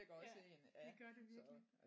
Ja det gør det virkelig